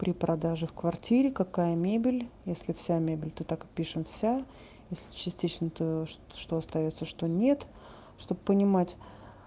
при продаже в квартире какая мебель если вся мебель то так и пишем вся если частично то что остаётся что нет чтобы понимать